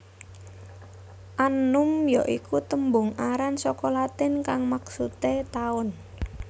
Annum ya iku tembung aran saka Latin kang maksudé taun